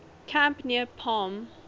camp near palm